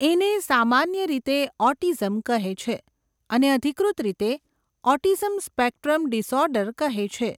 એને સામાન્ય રીતે ઓટીઝમ કહે છે અને અધિકૃત રીતે ઓટીઝમ સ્પેક્ટ્રમ ડીસઓર્ડર કહે છે.